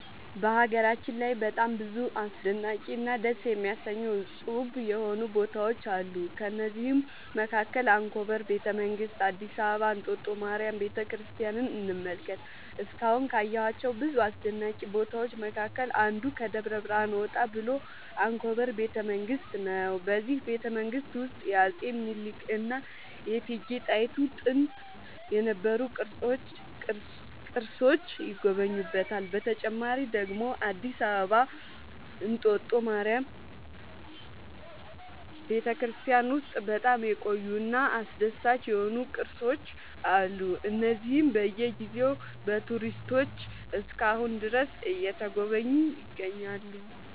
በሀገራችን ላይ በጣም ብዙ አስደናቂ እና ደስ የሚያሰኙ እፁብ የሆኑ ቦታዎች አሉ ከእነዚህም መካከል አንኮበር ቤተ መንግስት አዲስ አበባ እንጦጦ ማርያም ቤተክርስቲያንን እንመልከት እስካሁን ካየኋቸው ብዙ አስደናቂ ቦታዎች መካከል አንዱ ከደብረ ብርሃን ወጣ ብሎ አንኮበር ቤተ መንግስት ነው በዚህ ቤተመንግስት ውስጥ የአፄ ሚኒልክ እና የእቴጌ ጣይቱ ጥንት የነበሩ ቅርሶች ይገኙበታል። በተጨማሪ ደግሞ አዲስ አበባ እንጦጦ ማርያም ቤተክርስቲያን ውስጥ በጣም የቆዩ እና አስደሳች የሆኑ ቅርሶች አሉ እነዚህም በየ ጊዜው በቱሪስቶች እስከ አሁን ድረስ እየተጎበኙ ይገኛሉ